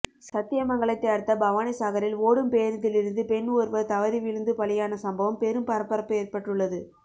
சத்தியமங்கலத்தை அடுத்த பவானிசாகரில் ஓடும் பேருந்திலிருந்து பெண் ஒருவர் தவறி விழுந்து பலியான சம்பவம் பெரும் பரபரப்பு ஏற்பட்டுள்ளது